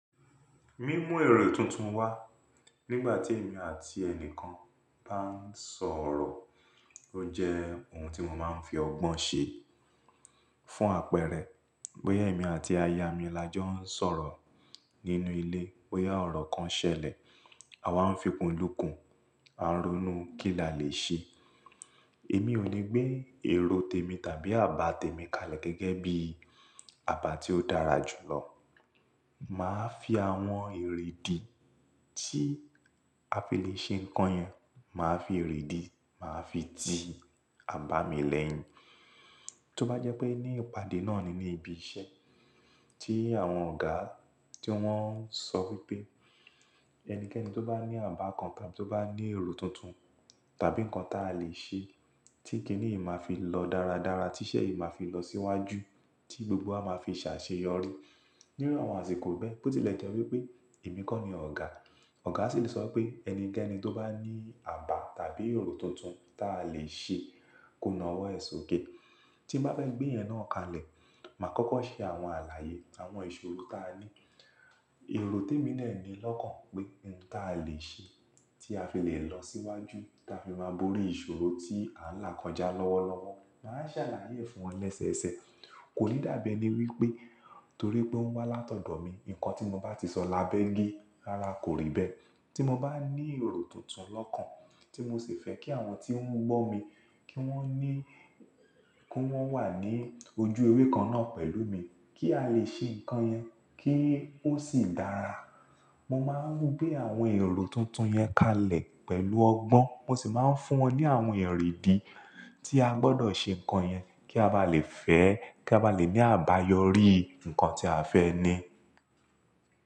Mí mú èrò tuntun wá nígbà tí èmi àti ẹni kan bá ń sọ̀rọ̀. Ó jẹ́ ohun tí mo máa ń fi ọgbọ́n ṣe fún àpẹẹrẹ, bóyá èmi àti aya mi la jọ ń sọ̀rọ̀ nínú ilé, bóyá ọ̀rọ̀ kan ṣẹlẹ̀, àwa ń fikùnlúkùn, à ń ronú kí la lè ṣe. Èmi ò ní gbé èrò tèmi tàbí àbá tèmi kalẹ̀ gẹ́gẹ́ bí àbá tí ó dára jù lọ. Màá fi àwọn ìrìdí tí a fi lè ṣe nǹkan yẹn, màá fi ìrìdí, màá fi tì àbá mi lẹ́yìn. Tí ó bá jẹ́ pé ní ìpàdé náà ni ní ibi iṣẹ́ tí àwọn ọ̀gá tí wọ́n ń sọ wípé ẹnikẹ́ni tó bá ní àbá kookan tó bá ní èrò tuntun tàbí ǹnkan ta lè ṣe tí kìní yii máa fi lọ dáradára, tí iṣẹ́ yìí máa fi lọ síwájú tí gbogbo wa máa fi ṣàṣeyọrí. Ní iru àwọn àsìkò bẹ́ẹ̀, bó tilẹ̀ jẹ́ wípé èmi kọ́ ni ọ̀gá, ọ̀gá sì lè sọ wipé ẹnikẹ́ni tó bá ní àbá tàbí èrò tuntun ta lè ṣe ko nà ọwọ́ ẹ̀ sókè. Tí n bá fẹ́ gbé ìyẹn náà kalẹ̀, màá kọ́kọ́ ṣe àwọn àlàyé àwọn ìṣòro tí a ní. Èrò tèmi dẹ̀ ni lọ́kàn pé ohun ta lè ṣe tí a fi lè lọ síwájú tí a fi máa borí ìṣòro tí à ń là kọjá lọ́wọ́lọ́wọ́. Màá ṣàlàyé fún wọn lẹ́sẹẹsẹ. Kò ní dàbi ení wípé torí pé ó ń wá látọ̀dọ̀ mi, ǹnkan tí mo bá ti sọ lábẹ́ ge rárá kò rí bẹ́ẹ̀. Tí mo bá ní èrò tuntun lọ́kan tí mo sì fẹ́ kí àwọn tí ń gbọ́ mi kí wọ́n ní, kí wọ́n wà ní ojú ewé kan náà pẹ̀lú mi kí a lè ṣe ǹnkan yẹn kí ó sì dára. Mo máa ń gbé àwọn èrò tuntun yẹn kalẹ̀ pẹ̀lú ọgbọ́n, mo sì máa ń fún wọn ní àwọn ìrìdí tí a gbọdọ̀ ṣe ǹnkan yẹn kí a bá lè fẹ́, kí a bá lè ní àbáyọrí ǹnkan tí a fẹ́ ní.